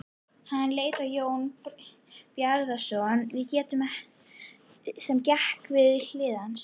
Hann leit á Jón Bjarnason sem gekk við hlið hans.